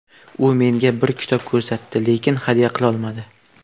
U menga bir kitob ko‘rsatdi, lekin hadya qilolmadi.